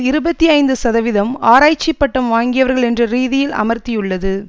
இருபத்தி ஐந்து சதவிதம் ஆராய்ச்சி பட்டம் வாங்கியவர்கள் என்ற ரீதியில் அமர்த்தியுள்ளது